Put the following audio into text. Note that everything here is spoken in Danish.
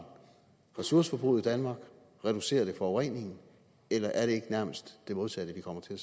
ressourceforbruget i danmark reducerer den forureningen eller er det ikke nærmest det modsatte vi kommer til